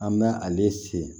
An bɛ ale sen